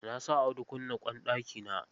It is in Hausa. Na sa Audu kunna ƙwan ɗakina.